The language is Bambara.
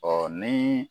Ɔ ni